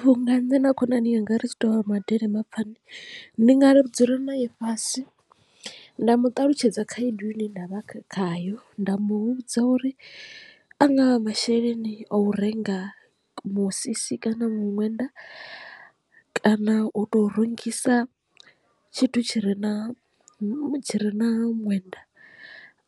Vhunga nṋe na khonani yanga ri tshi tovha madelele mapani ndi nga ri dzula nae fhasi nda mu ṱalutshedza khaedu ine nda vha khayo nda mu vhudza uri a nga masheleni a u renga musisi kana muṅwenda kana u to rungisa tshithu tshi re na mutsho ri na ṅwenda